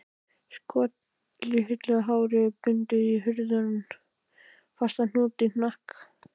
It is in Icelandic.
Skollitað hárið bundið í harðan, fastan hnút í hnakk